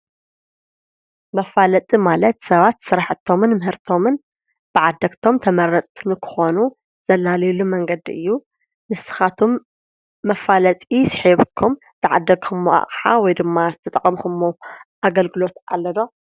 መፋለጢ ማለት ሰባት ስራሕቶምን ምህርቶም ብዓደግቶም ተመረፅቲ ንክኾኑ ዘላልየሉ መንገዲ እዩ። ንስካትኩም መፋለጢ ስሒብኩም ዝዓደክሞ ኣቕሓ ወይ ደማ ዝተጠቀምኩምዎ ኣገልግሎት ኣሎ ዶ?